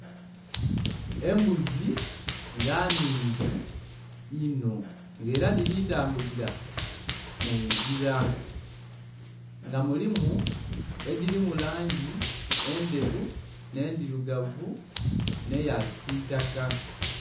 Embuzi nga nnhingi inho nga era dhili tambulira mu ngira. Nga mulimu edhilimu langi endheru, nh'endhirugavu, nh'eya kisiitaka.